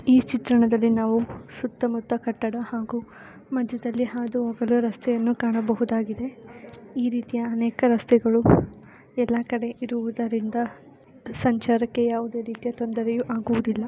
ಈ ಚಿತ್ರಣದಲ್ಲಿ ನಾವು ಸುತ್ತ ಮುತ್ತ ಕಟ್ಟಡ ಹಾಗೂ ಮಧ್ಯದಲ್ಲಿ ಹಾದು ಹೋಗಲು ರಸ್ತೆಯನ್ನು ಕಾಣಬಹುದಾಗಿದೆ ಈ ರೀತಿಯ ಅನೇಕ ರಸ್ತೆಗಳು ಎಲ್ಲಾ ಕಡೆ ಇರುವುದರಿಂದ ಸಂಚಾರಕ್ಕೆ ಯಾವುದೇ ರೀತಿಯ ತೊಂದರೆಯೂ ಆಗುವುದಿಲ್ಲ.